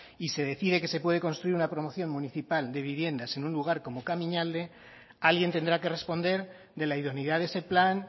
y se decide que se puede construir una promoción municipal de viviendas en un lugar como kamiñalde alguien tendrá que responder de la idoneidad de ese plan